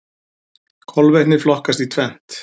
Kolvetni flokkast í tvennt.